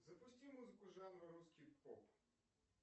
запусти музыку жанра русский поп